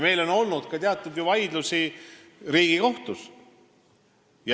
Meil on olnud ka vaidlusi Riigikohtus.